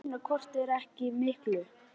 Það munar hvort eð er ekki miklu.